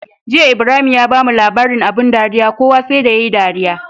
Jiya Ibrahim ya bamu labarin abun dariya kowa sai da yayi dariya